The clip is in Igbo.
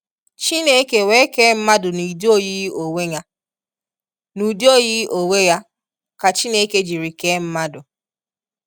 Chineke wee kee mmadụ n'udi oyiyi onwe Ya, n'udi oyiyi onwe Ya ka Chineke jiri kee mmadu.